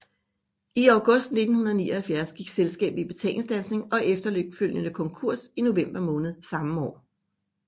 I august 1979 gik selskabet i betalingsstandsning og efterfølgende konkurs i november måned samme år